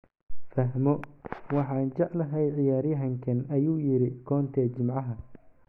"Fahmo, waxaan jeclahay ciyaaryahankan," ayuu yiri Conte Jimcaha.